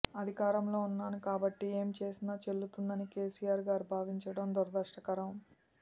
అధికారంలో ఉన్నాను కాబట్టి ఏమి చేసినా చెల్లుతుందని కెసిఆర్ గారు భావించడం దురదృష్టకరం